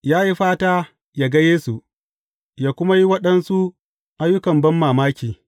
Ya yi fata ya ga Yesu, yă kuma yi waɗansu ayyukan banmamaki.